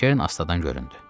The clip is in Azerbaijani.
Kern astadan göründü.